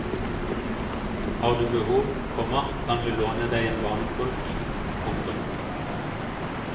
Har du behov, komma kan vi låne deg en barnepulk. punktum